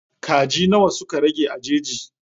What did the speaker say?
Kaji nawa suka rage a jeji?